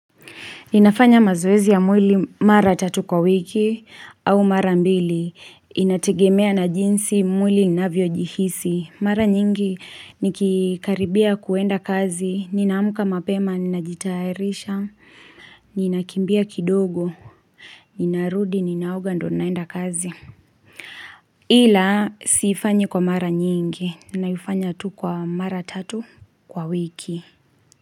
Nafanya mazoezi ya mwili mara tatu kwa wiki au mara mbili. Inategemea na jinsi mwili inavyo jihisi. Mara nyingi nikikaribia kuenda kazi. Na amka mapema, najitayarisha. Ninakimbia kidogo. Ninarudi, ninaoga ndio naenda kazi. Ila siifanyi kwa mara nyingi. Ninaifanya tu kwa mara tatu kwa wiki.